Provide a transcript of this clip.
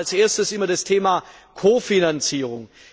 Da kommt als Erstes immer das Thema Kofinanzierung.